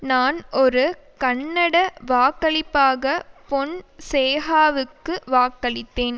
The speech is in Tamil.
நான் ஒரு கன்னட வாக்களிப்பாக பொன்சேகாவுக்கு வாக்களித்தேன